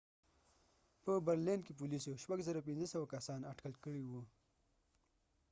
په برلین berlin کې پولیسو 6،500 کسان اټکل کړي وه